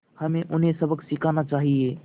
हमें उन्हें सबक सिखाना चाहिए